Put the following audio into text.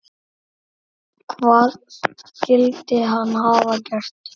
Hvað skyldi hann hafa gert?